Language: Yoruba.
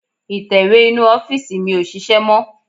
Ìtẹ̀wé inú ọ́fìsì mi ò ṣiṣẹ́ mọ́